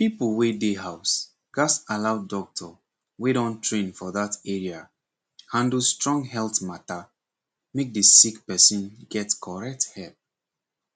people wey dey house gatz allow doctor wey don train for that area handle strong health matter make the sick person get correct help